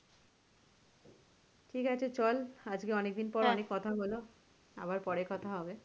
ঠিক আছে চল আজকে অনেক দিন পর অনেক কথা হলো আবার পরে কথা হবে।